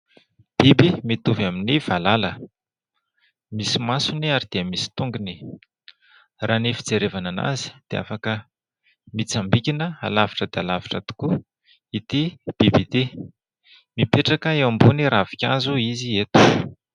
Biby mitovy amin'ny valala. MIsy masony ary dia misy tongony. Raha ny fijerevana anazy dia afaka mitsambikina lavitra dia lavitra tokoa ity biby ity. Mipetraka eo ambony ravinkazo izy eto.